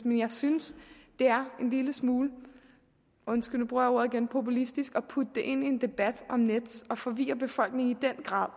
men jeg synes det er en lille smule undskyld nu bruger jeg ordet igen populistisk at putte det ind i en debat om nets og forvirre befolkningen i den grad